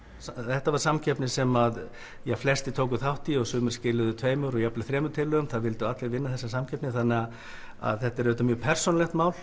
þetta var samkeppni sem flestir tóku þátt í sumir skiluðu tveimur jafnvel þremur tillögum það vildu allir vinna þessa samkeppni þannig að þetta er auðvitað mjög persónulegt mál